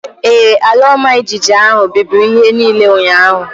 Ee, ala ọma jijiji ahụ bibiri ihe niile ụnyaahụ